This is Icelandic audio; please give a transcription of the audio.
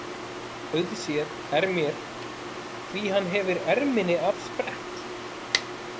Auðséð er mér hví hann hefir erminni af sprett.